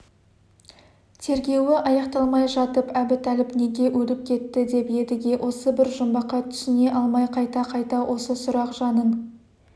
тергеуі аяқталмай жатып әбутәліп неге өліп кетті деп едіге осы бір жұмбаққа түсіне алмай қайта-қайта осы сұрақ жанын